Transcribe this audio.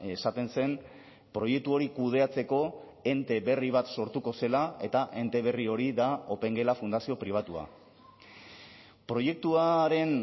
esaten zen proiektu hori kudeatzeko ente berri bat sortuko zela eta ente berri hori da opengela fundazio pribatua proiektuaren